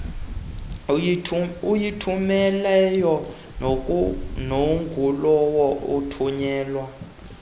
oyithumelayo nangulowo ithunyelwa